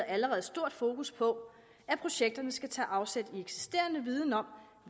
allerede stort fokus på at projekterne skal tage afsæt i eksisterende viden om